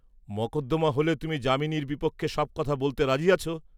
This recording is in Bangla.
মকদ্দমা হলে তুমি যামিনীর বিপক্ষে সব কথা বলতে রাজি আছ?